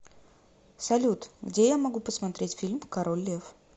салют где я могу посмотреть фильм король лев